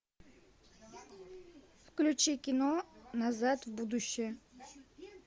включи кино назад в будущее